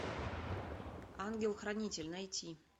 ангел хранитель найти